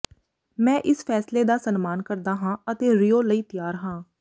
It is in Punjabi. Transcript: ਮੈਂ ਇਸ ਫ਼ੈਸਲੇ ਦਾ ਸਨਮਾਨ ਕਰਦਾ ਹਾਂ ਅਤੇ ਰਿਓ ਲਈ ਤਿਆਰ ਹਾਂ